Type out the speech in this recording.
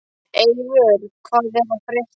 Eivör, hvað er að frétta?